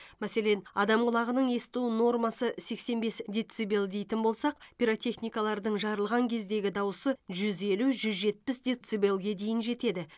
мәселен адам құлағының есту нормасы сексен бес децибел дейтін болсақ пиротехникалардың жарылған кездегі дауысы жүз елу жүз жетпіс децибелге дейін жетеді